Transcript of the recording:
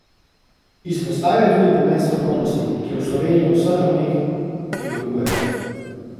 Izpostavil je tudi pomen strokovnosti, ki je v Sloveniji na vseh ravneh primanjkuje.